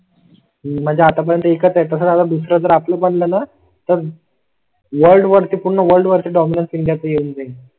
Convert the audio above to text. म्हणजे आतापर्यंत एका तासा ला दुसरा पडला तर? वर्ल्ड वरती पूर्ण वर्ल्ड वर चे डॉ मानसिंग यात येऊन जाईल.